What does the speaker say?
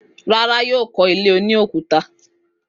Rárá, yóò kọ́lé oní òkúta.